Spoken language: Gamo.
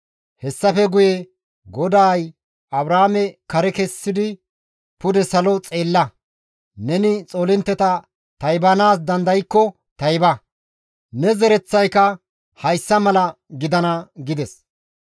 Hessafe guye GODAY Abraame kare kessidi, «Pude salo xeella; neni xoolintteta taybanaas dandaykko tayba; ne zereththayka hayssa mala gidana» gides.